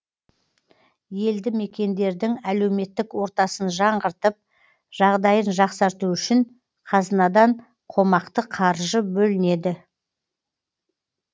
елді мекендердің әлеуметтік ортасын жаңғыртып жағдайын жақсарту үшін қазынадан қомақты қаржы бөлінеді